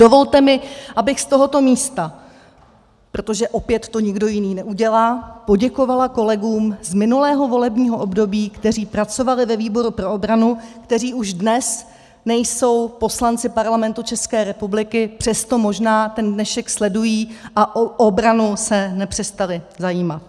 Dovolte mi, abych z tohoto místa, protože to opět nikdo jiný neudělá, poděkovala kolegům z minulého volebního období, kteří pracovali ve výboru pro obranu, kteří už dnes nejsou poslanci Parlamentu České republiky, přesto možná ten dnešek sledují a o obranu se nepřestali zajímat.